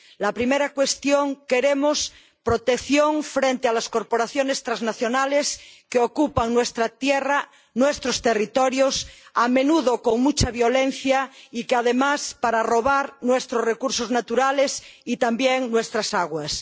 La primera cuestión queremos protección frente a las corporaciones transnacionales que ocupan nuestra tierra, nuestros territorios, a menudo con mucha violencia y, además, para robar nuestros recursos naturales y también nuestras aguas.